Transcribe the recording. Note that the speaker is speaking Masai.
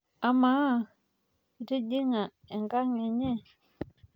Amaa, itijing'a enkang' enye?